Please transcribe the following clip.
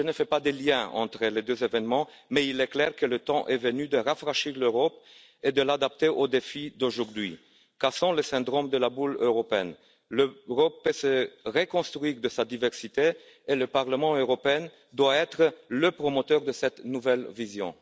Je ne fais pas de lien entre les deux évènements, mais il est clair que le temps est venu de rafraîchir l'Europe et de l'adapter aux défis d'aujourd'hui car sans le syndrome de la bulle européenne, l'Europe peut se reconstruire de sa diversité et le Parlement européen doit être le promoteur de cette nouvelle vision.